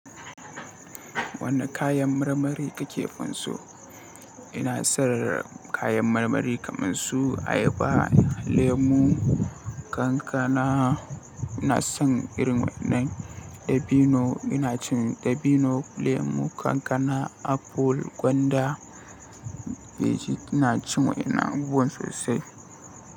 Wani kayan marmari kake fin so? Ina son kayan marmari kamar su ayaba, lemu, kankana. Ina son irin waɗannan dabino. Ina cin dabino, lemu, kankana, aful, gwanda. Beji ina cin wa'inan abubuwan sosai.